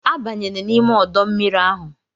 Abanyela n'ime ọdọ mmiri ahụ!